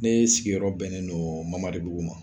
Ne sigiyɔrɔ bɛnnen don MAMARIBUGU ma.